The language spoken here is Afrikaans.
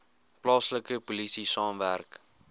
plaaslike polisie saamwerk